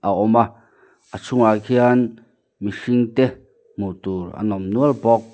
a awm a chhungah khian mihringte hmuh tur an awm nual bawk.